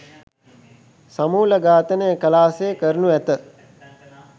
සමූල ඝාතනය කලා සේ කරනු ඇත.